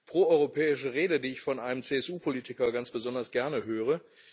proeuropäische Rede, die ich von einem CSU Politiker ganz besonders gerne höre.